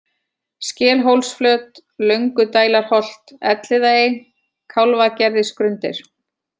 Skelhólsflöt, Löngudælarholt, Elliðaey, Kálfagerðisgrundir